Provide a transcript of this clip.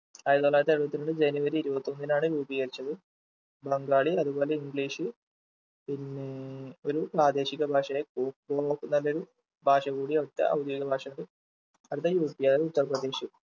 ആയിരത്തിത്തൊള്ളായിരത്തി എഴുപത്തി രണ്ട് ജനുവരി ഇരുപത്തിയൊന്നിനാണ് രൂപീകരിച്ചത് ബംഗാളി അതുപോലെ english പിന്നേ ഒരു പ്രാദേശിക ഭാഷയായി ഭാഷ കൂടി അവിടത്തെ ഔദ്യോഗിക ഭാഷക്ക് അടുത്തത് up അതായത് ഉത്തർപ്രദേശ്